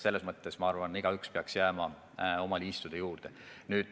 Selles mõttes peaks igaüks jääma oma liistude juurde.